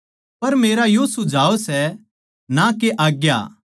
पर मेरा यो सुझाव सै ना के आज्ञा